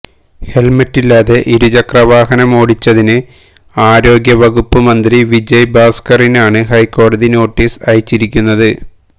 ഹെല്മെറ്റില്ലാതെ ഇരുചക്ര വാഹനമോടിച്ചതിന് ആരോഗ്യവകുപ്പ് മന്ത്രി വിജയ് ഭാസ്കറിനാണ് ഹൈക്കോടതി നോട്ടീസ് അയച്ചിരിക്കുന്നത്